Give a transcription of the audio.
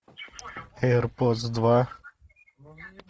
эйр подс два